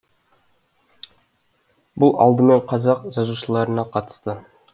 бұл алдымен қазақ жазушыларына қатысты